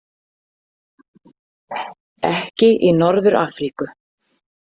Ekki í Norður- Afríku.